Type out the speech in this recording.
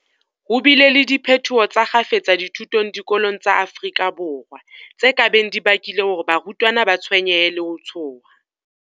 Ho bile le diphetoho tsa kgafetsa dithutong diko long tsa Afrika Borwa, tse ka beng di bakile hore barutwana ba tshwenyehe le ho tshoha.